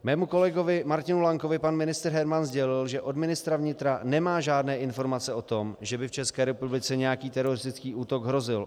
Mému kolegovi Martinu Lankovi pan ministr Herman sdělil, že od ministra vnitra nemá žádné informace o tom, že by v České republice nějaký teroristický útok hrozil.